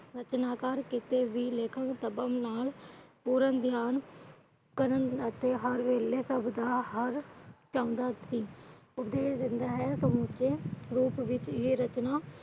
ਰਚਨਾਕਾਰ ਕੀਤੇ ਵੀ ਲੇਖਣ ਪੂਰਨ ਧਿਆਨ। ਹਰ ਵੇਲੇ ਸਭ ਦਾ ਚਾਹੁੰਦਾ ਸੀ। ਰੂਪ ਵਿਚ ਇਹ ਰਚਨਾ